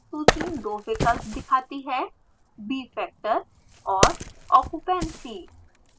सूची दो विकल्प दिखाती है: bfactor और occupancy